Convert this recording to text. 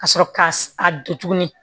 Ka sɔrɔ k'a a don tuguni